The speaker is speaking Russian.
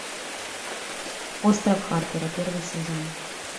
остров харпера первый сезон